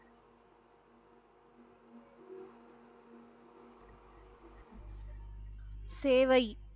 சேவை